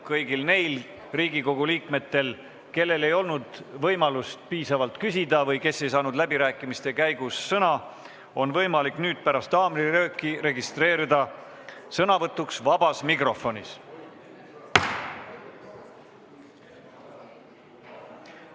Kõigil neil Riigikogu liikmetel, kellel ei olnud võimalust piisavalt küsida või kes ei saanud läbirääkimiste käigus sõna, on võimalik nüüd pärast haamrilööki registreerida sõnavõtuks vabas mikrofonis.